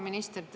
Hea minister!